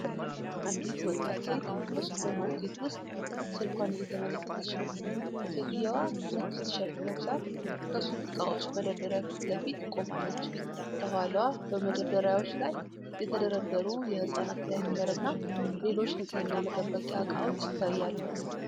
አንዲት ወጣት ሴት በሱፐርማርኬት ውስጥ ስልኳን እየተመለከተች ነው። ሴትየዋ ነጭ ቲሸርት ለብሳ ከሱቅ ዕቃዎች መደርደሪያ ፊት ለፊት ቆማለች። ከኋላዋ በመደርደሪያዎች ላይ የተደረደሩ የሕፃናት ዳይፐር እና ሌሎች ንጽህና መጠበቂያ ዕቃዎች ይታያሉ።